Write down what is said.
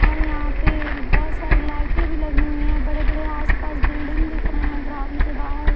और यहा पे बोहोत सारी लाइटे भी लगी हुई है बड़े बड़े आस पास बिल्डिंग दिखरे ग्राउंड के बाहर--